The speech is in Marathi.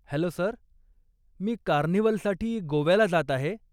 हॅलो सर, मी कार्निव्हलसाठी गोव्याला जात आहे.